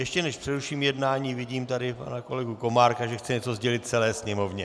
Ještě než přeruším jednání, vidím tady pana kolegu Komárka, že chce něco sdělit celé Sněmovně.